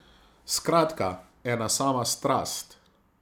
Skratka, ena sama strast.